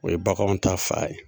O ye baganw ta fan ye.